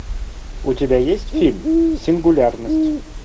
у тебя есть фильм сингулярность